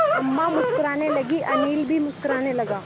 अम्मा मुस्कराने लगीं अनिल भी मुस्कराने लगा